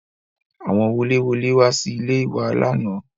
Àwọn woléwolé wá sí ilé e wa lánàá